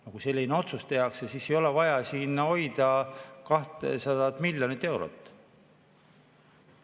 Aga kui selline otsus tehakse, siis ei ole vaja siin 200 miljonit eurot hoida.